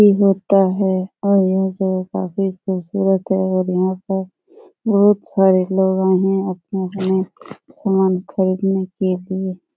भी होता है और यह जगह काफी खुबसूरत है और यहाँ पर बहुत सारे लोग आए हैं अपने-अपने सामान खरीदने के लिए |